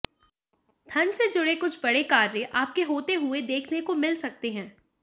धन से जुड़े कुछ बड़े कार्य आपके होते हुए देखने को मिल सकते हैं